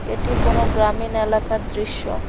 এটি কোনও গ্রামীন এলাকার দৃশ্য।